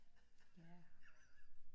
Ja